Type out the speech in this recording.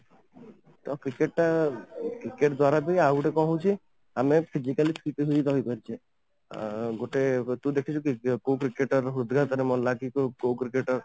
ତ cricket ଟା cricket ଦ୍ୱାରା ବି ଆଉ ଗୋଟେ କ'ଣ ହଉଛି ଆମେ physically fit ହେଇ ରହିପାରୁଛ ଅଂ ଗୋଟେ ତୁ ଦେଖିଛୁ କି କୋଉ Cricketer ହୃଦଘାତ ରେ ମଲା କି କୋଉ Cricketer